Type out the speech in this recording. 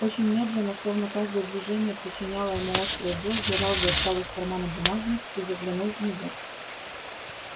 очень медленно словно каждое движение причиняло ему острую боль джералд достал из кармана бумажник и заглянул в него